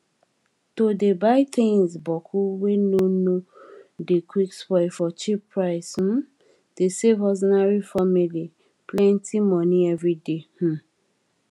to dey buy things boku wey nor nor dey quick spoil for cheap price um dey save ordinary family plenty money everyday um